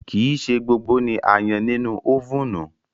Kii ṣe gbogbo awọn akara oyinbo ni a yan ninu ovunu